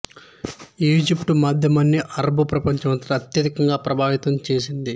Egypt మాధ్యమాన్ని అరబు ప్రపంచం అంతటా అత్యధికంగా ప్రభావితం చేసింది